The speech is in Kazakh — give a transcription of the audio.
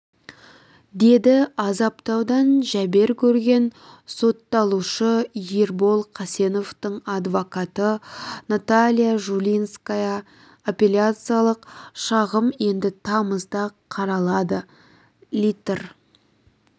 деді азаптаудан жәбер көрген сотталушы ербол қасеновтің адвокаты наталья жулинская апелляциялық шағым енді тамызда қаралады литр